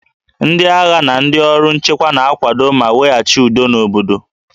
Ndị agha na ndị ọrụ nchekwa na-akwado ma weghachi udo n'obodo